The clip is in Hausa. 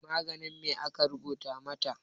Maganin me aka rubuta mata?